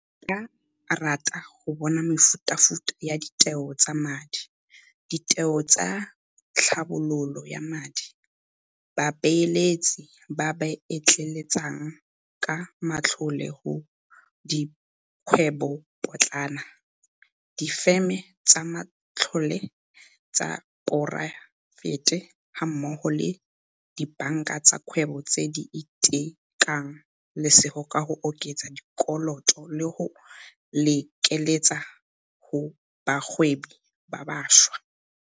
Ba ka rata go bona mefutafuta ya ditheo tsa madi, ditheo tsa tlhabololo ya madi, babeeletsi ba ba etleetsang ka matlole go dikgwebopotlana, difeme tsa matlole tsa poraefete gammogo le dibanka tsa kgwebo tse di itekang lesego ka go oketsa sekoloto le go lekeletsa go bagwebi ba bašwa.